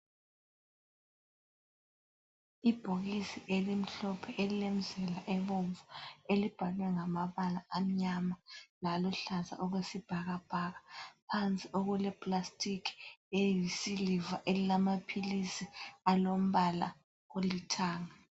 Ibhokisi elimhlophe elilemzila ebomvu ebhalwe ngamabala amnyama laluhlaza okwesibhakabhaka. Phansi okulepulastiki eyisiliva elamaphilisi alombala olithanga.